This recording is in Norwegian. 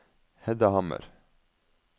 Hedda Hammer